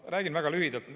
Ma räägin väga lühidalt.